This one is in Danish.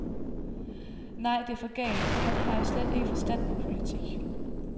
Nej det er for galt, han har jo slet ikke forstand på politik.